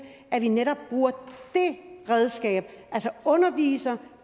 at vi bruger netop det redskab altså underviser